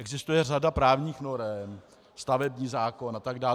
Existuje řada právních norem, stavební zákon a tak dále.